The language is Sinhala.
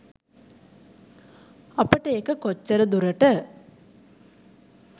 අපට ඒක කොච්චර දුරට